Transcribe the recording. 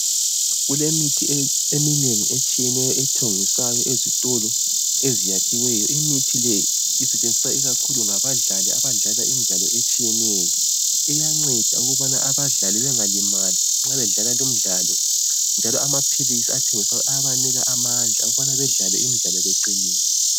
Kulemithi eminenginengi etshiyeneyo ethengiswayo ezitolo eziyakhiweyo. Imithi leyi isetshenziswa ikakhulu ngabadlali abadlala imidlalo etshiyeneyo. Iyanceda ukubana abadlali bengalimali nxa bedlala limidlalo njalo amaphilisi athengiswayo ayabanika amandla ukubana bedlale imidlalo beqinile.